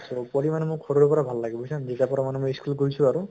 so পঢ়ি মানে সৰুৰ পৰা ভাল লাগে মোক বুজিছা নে যেতিয়াৰ পৰা মানে মই school গৈছো আৰু